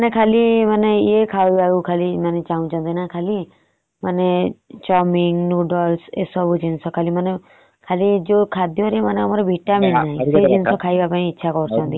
ଏମାନେ ଖାଲି ୟେ ଖାଇବାକୁ ଚନହୁଛନ୍ତି ଖାଲି chowmin noodles ଏସବୁ ଖାଇବାକୁ ମାନେ ଖାଦ୍ୟ ରେ ବାହାର ଜିନିଷ ଖାଇବାକୁ ଇଚ୍ଛା କରୁଛନ୍ତି।